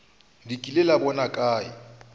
le kile la bona kae